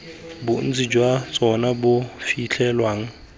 bontsi jwa tsona bo fitlhelwang